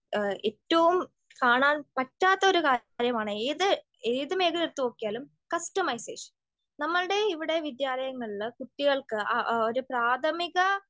ഏറ്റവും കാണാൻ പറ്റാത്ത ഒരു കാര്യമാണ് ഏത് ഏത് മേഖല എടുത്ത് നോക്കിയാലും കസ്റ്റമൈസേഷൻ. നമ്മൾടെ ഇവിടെ വിദ്യാലയങ്ങളില് കുട്ടികൾക്ക് ഒരു പ്രാഥമിക